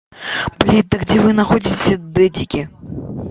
блядь да где вы находите дэдики